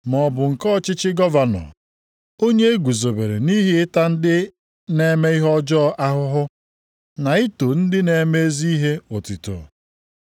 maọbụ nke ọchịchị gọvanọ, onye e guzobere nʼihi ịta ndị na-eme ihe ọjọọ ahụhụ, na ito ndị na-eme ezi ihe otuto.